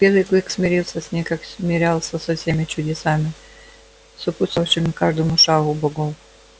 белый клык смирился с ней как смирялся со всеми чудесами сопутствовавшими каждому шагу богов